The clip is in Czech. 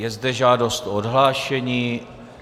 Je zde žádost o odhlášení.